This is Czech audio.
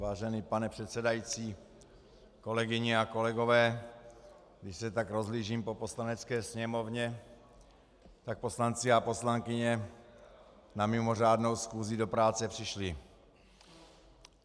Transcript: Vážený pane předsedající, kolegyně a kolegové, když se tak rozhlížím po Poslanecké sněmovně, tak poslanci a poslankyně na mimořádnou schůzi do práce přišli.